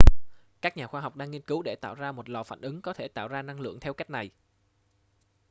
các nhà khoa học đang nghiên cứu để tạo ra một lò phản ứng có thể tạo ra năng lượng theo cách này